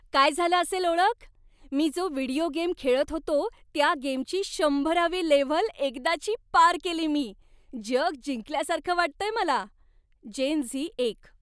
काय झालं असेल ओळख? मी जो व्हिडिओ गेम खेळत होतो त्या गेमची शंभरावी लेव्हल एकदाची पार केली मी! जग जिंकल्यासारखं वाटतंय मला. जेन झी एक